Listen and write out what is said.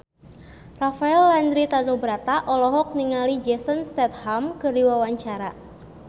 Rafael Landry Tanubrata olohok ningali Jason Statham keur diwawancara